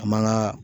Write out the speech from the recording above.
An man ka